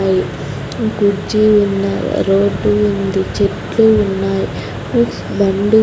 ఉన్నాయి కుర్చీ ఉన్నాయ్ రోడ్డు ఉంది చెట్లు ఉన్నాయ్ బండి--